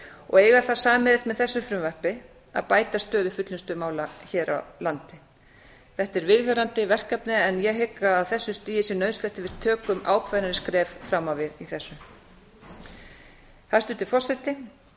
og eiga það sameiginlegt með þessu frumvarpi að bæta stöðu fullnustumála hér á landi þetta er viðvarandi verkefni en ég hygg að á þessu stigi sé nauðsynlegt að við tökum ákveðin skref fram á við í þessu hæstvirtur forseti ég